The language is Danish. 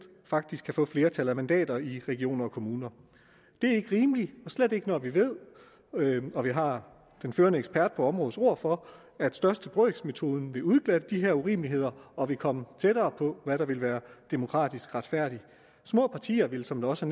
faktisk kan få flertal af mandater i regioner og kommuner det er ikke rimeligt og slet ikke når vi ved og vi har den førende ekspert på områdets ord for at største brøks metode ville udglatte de her urimeligheder og ville komme tættere på hvad der ville være demokratisk retfærdigt små partier ville som der også